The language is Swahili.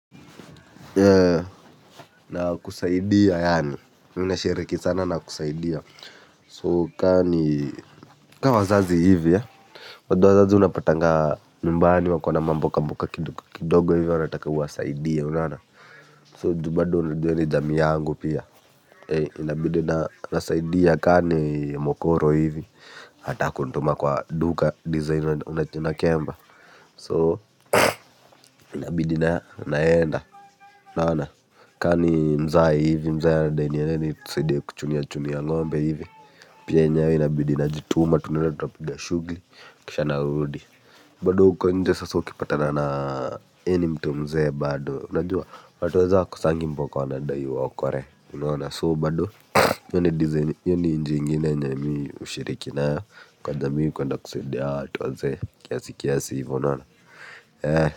Na kusaidia yaani, ninashiriki sana na kusaidia So kani, ka wazazi hivi bado wazazi unapatanga nyumbani wakona na mamboka mboka kidogo hivi wanataka uwasaidie unaona So juu bado unajua ni jamii yangu pia. Inabidi na nasaidia kani mokoro hivi anataka kunituma kwa duka design una kemba So inabidi na naenda unaona kani mzae hivi mzae anadai niende nisaidie kuchunia chunia ngombe hivi pia enyewe inabidi na jituma tunenda tunapiha shughuli kisha narudi bado uko nje sasa ukipatana na mimi ni mtu mzee bado unajua watuwezee hawakosangi mboka wanadai uwaokolee unaona so bado hiyo ni njia ingine yenye mi hushiriki nayo kwa jamii kuenda kusaidia hao watu wazee kiasi kiasi hivyo unaona.